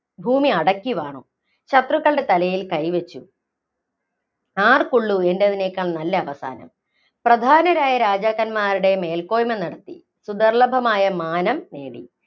ഭൂമി അടക്കിവാണു. ശത്രുക്കളുടെ തലയില്‍ കൈ വച്ചു, ആര്‍ക്കുള്ളൂ എന്‍റേതിനെക്കാള്‍ നല്ല അവസാനം? പ്രധാനരായ രാജാക്കന്മാരുടെ മേല്‍ക്കോയ്മ നിര്‍ത്തി. സുദുര്‍ല്ലഭമായ മാനം നേടി.